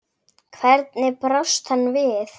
Hvernig brást hann við?